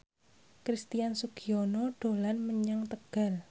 Christian Sugiono dolan menyang Tegal